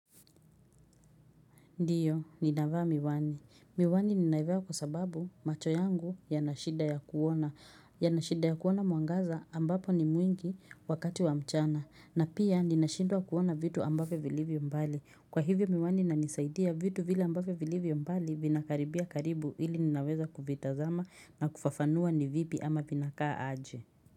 Ndiyo, ninavaa miwani. Miwani ninaivaa kwa sababu macho yangu yana shida ya kuona. Yana shida ya kuona mwangaza ambapo ni mwingi wakati wa mchana. Na pia ninashindwa kuona vitu ambavyo vilivyo mbali. Kwa hivyo miwani inanisaidia vitu vile ambavyo vilivyo mbali vinakaribia karibu ili ninaweza kuvitazama na kufafanua ni vipi ama vinakaa aje.